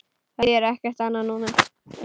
Það þýðir ekkert annað núna.